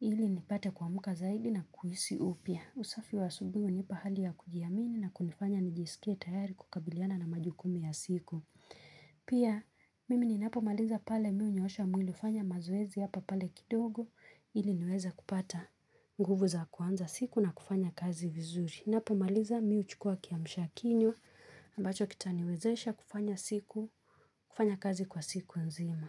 ili nipate kuamka zaidi na kuhisi upya. Usafi wa asubuhi hunipa hali ya kujiamini na kunifanya nijiskie tayari kukabiliana na majukumu ya siku. Pia mimi ninapo maliza pale mimi hunyoosha mwili hufanya mazoezi hapa pale kidogo ili niweza kupata nguvu za kuanza siku na kufanya kazi vizuri ninapomaliza mimi huchukua kiamsha kinywa. Ambacho kitaniwezesha kufanya siku, kufanya kazi kwa siku nzima.